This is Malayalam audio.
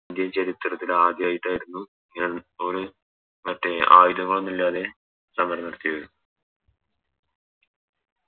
Indian ചരിത്രത്തിൽ ആദ്യായിട്ടായിരുന്നു ഞാൻ മറ്റ് ആയുധങ്ങളൊന്നുല്ലാതെ സമരം നടത്തിയവര്